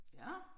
Ja